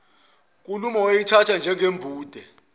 nkulumo wayeyithatha njengembude